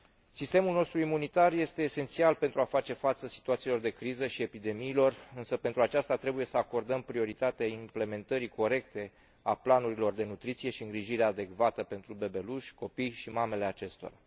Sistemul nostru imunitar este esențial pentru a face față situațiilor de criză și epidemiilor, însă pentru aceasta trebuie să acordăm prioritate implementării corecte a planurilor de nutriție și îngrijire adecvată pentru bebeluși, copii și mamele acestora.